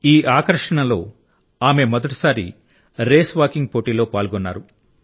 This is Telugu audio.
ఈ ఆకర్షణలో ఆమె మొదటిసారి రేస్వాకింగ్ పోటీలో పాల్గొన్నారు